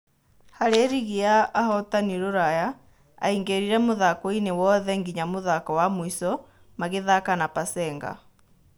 Harĩ rigi ya ahotani Ruraya aingĩririe mũthakoinĩ wothe nginya mũthako wa mũico magĩthaka na Pasenga.